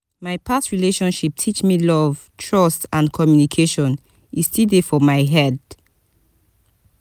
my past relationship teach me love trust and communication e still dey for my head.